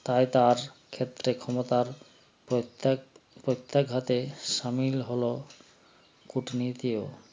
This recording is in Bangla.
তাই তার ক্ষেত্রে ক্ষমতার প্রত্যেক প্রত্যাঘাতে শামিল হলো কূটনীতিও